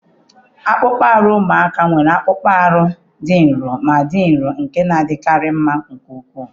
Akpụkpọ anụ ụmụaka nwere akpụkpọ anụ dị nro ma dị nro nke na-adịkarị mma nke ukwuu.